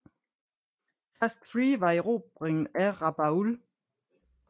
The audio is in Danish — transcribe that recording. Task Three var erobringen af Rabaul